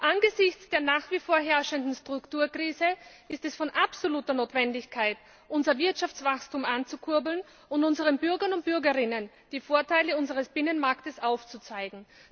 Angesichts der nach wie vor herrschenden Strukturkrise ist es von absoluter Notwendigkeit, unser Wirtschaftswachstum anzukurbeln und unseren Bürgern und Bürgerinnen die Vorteile unseres Binnenmarkts aufzuzeigen.